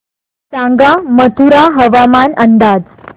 सांगा मथुरा हवामान अंदाज